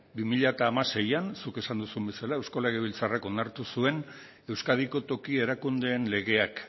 bi mila hamaseian zuk esan duzun bezala eusko legebiltzarrak onartu zuen euskadiko toki erakundeen legeak